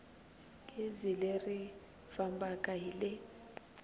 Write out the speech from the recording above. gezi leri fambaka hi le